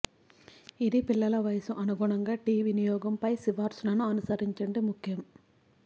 ఇది పిల్లల వయస్సు అనుగుణంగా టీ వినియోగం పై సిఫార్సులను అనుసరించండి ముఖ్యం